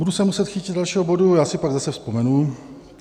Budu se muset chytit dalšího bodu, já si pak zase vzpomenu.